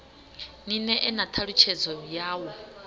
ni ṋee na ṱhalutshedzo yawo